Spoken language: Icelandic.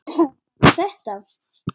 Var það bara þetta?